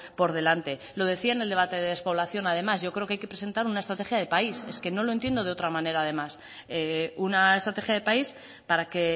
por delante lo decía en el debate de despoblación además yo creo que hay que presentar una estrategia de país es que no lo entiendo de otra manera además una estrategia de país para que